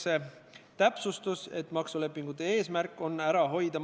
Teen ettepaneku eelnõu 47 teine lugemine katkestada.